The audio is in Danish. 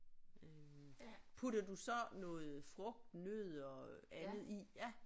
Øh putter du så noget frugt nødder andet i ja